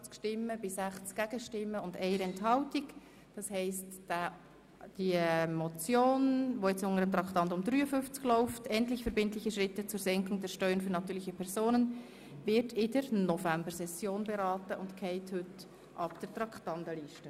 Traktandum 53, die Motion 050-2017 Schöni-Affolter (Bremgarten, glp) wird also in der Novembersession beraten und fällt somit heute von der Traktandenliste.